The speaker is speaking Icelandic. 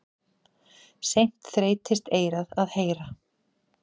Seint þreytist eyrað að heyra.